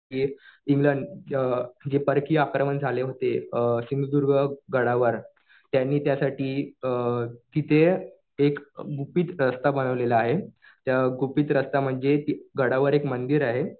कि इंग्लंड जे परकीय आक्रमण झाले होते सिंधुदुर्ग गडावर. त्यांनी त्यासाठी तिथे एक गुपित रस्ता बनवलेला आहे. त्या गुपित रस्ता म्हणजे गडावर एक मंदिर आहे.